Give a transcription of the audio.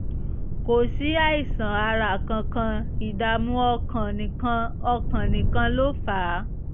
kò sí àìsàn ara kankan ìdààmú ọkàn nìkan ọkàn nìkan ló fà á